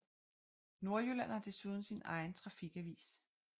Nordjylland har desuden sin egen trafikavis